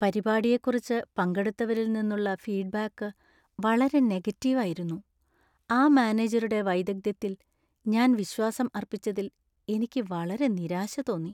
പരിപാടിയെക്കുറിച്ച് പങ്കെടുത്തവരിൽ നിന്നുള്ള ഫീഡ്ബാക്ക് വളരെ നെഗറ്റീവ് ആയിരുന്നു , ആ മാനേജരുടെ വൈദഗ്ധ്യത്തിൽ ഞാൻ വിശ്വാസം അർപ്പിച്ചതിൽ എനിക്ക് വളരെ നിരാശ തോന്നി.